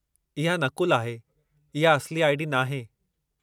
इहा नक़ुलु आहे, इहा असली आई.डी. नाहे।